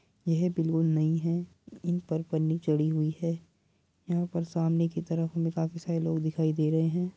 यह बिल्कुल नई है इन पर पन्नी चढ़ी हुई है यहाँ पर सामने की तरफ हमें काफी सारे लोग दिखाई दे रहें हैं।